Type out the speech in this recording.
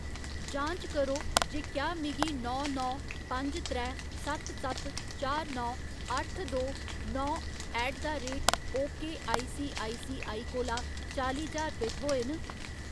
जांच करो जे क्या मिगी नौ नौ पंज त्रै सत्त सत्त चार नौ अट्ठ दो नौ ऐट द रेट ओकेसीआईसीआई कोला चाली ज्हार रपेऽ थ्होए न।